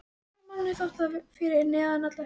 Gamla manninum þótti það fyrir neðan allar hellur.